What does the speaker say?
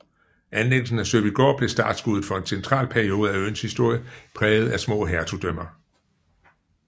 Anlæggelsen af Søbygård blev startskuddet for en central periode af øens historie præget af små hertugdømmer